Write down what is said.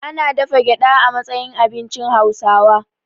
Ana dafa gyaɗa a matsayin abincin Hauwasa.